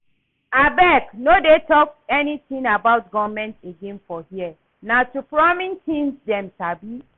Abeg no dey talk anything about government again for here, na to promise things dem sabi